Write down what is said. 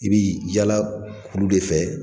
I bɛ yaala kulu de fɛ